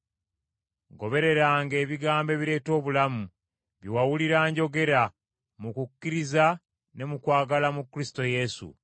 Gobereranga ebigambo ebireeta obulamu bye wawulira njogera, mu kukkiriza ne mu kwagala mu Kristo Yesu.